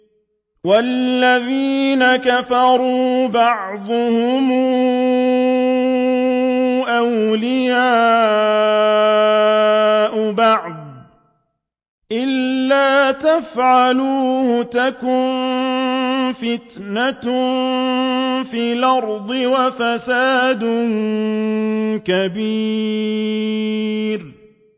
وَالَّذِينَ كَفَرُوا بَعْضُهُمْ أَوْلِيَاءُ بَعْضٍ ۚ إِلَّا تَفْعَلُوهُ تَكُن فِتْنَةٌ فِي الْأَرْضِ وَفَسَادٌ كَبِيرٌ